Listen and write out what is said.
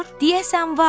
Deyəsən var.